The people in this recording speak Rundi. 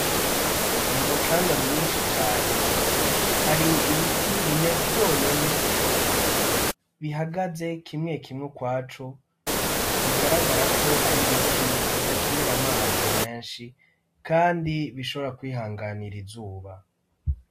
Mu mucanga mwinshi cane, hari ibiti bine vyonyene, bihagaze kimwe kimw'ukwaco bigaragara ko ar' ibiti bidakenera amazi menshi kandi bishobora kwihanganir' izuba.